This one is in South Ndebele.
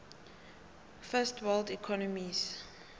first world economies